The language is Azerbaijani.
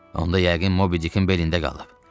Onda yəqin Mobidikin belində qalıb.